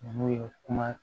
N'o ye kuma